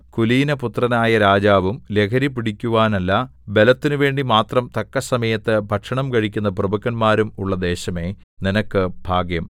കുലീനപുത്രനായ രാജാവും ലഹരിപിടിക്കുവാനല്ല ബലത്തിനു വേണ്ടി മാത്രം തക്കസമയത്ത് ഭക്ഷണം കഴിക്കുന്ന പ്രഭുക്കന്മാരും ഉള്ള ദേശമേ നിനക്ക് ഭാഗ്യം